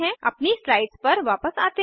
अपनी स्लाइड्स पर वापस आते हैं